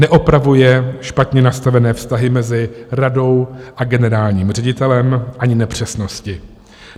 Neupravuje špatně nastavené vztahy mezi radou a generálním ředitelem ani nepřesnosti.